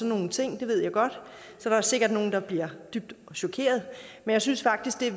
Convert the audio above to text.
nogle ting det ved jeg godt så der er sikkert nogle der bliver dybt chokerede men jeg synes faktisk